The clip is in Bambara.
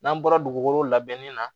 N'an bɔra dugukolo labɛnni na